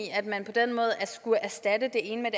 at man på den måde skulle erstatte det ene med